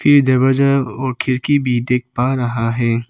की जबरजब और खिड़की भी देख पा रहा है।